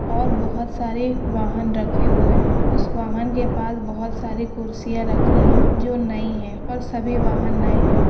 और बहुत सारे वाहन रखे हुए हैं। उस वाहन के पास बहुत सारी कुर्सियां रखी हैं जो नहीं है। और सभी वहांन नए हैं।